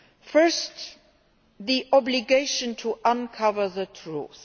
First, the obligation to uncover the truth.